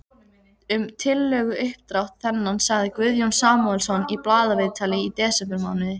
Um tillöguuppdrátt þennan sagði Guðjón Samúelsson í blaðaviðtali í desembermánuði